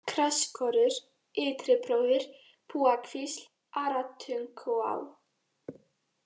Grasskorur, Ytribróðir, Bugakvísl, Aratunguá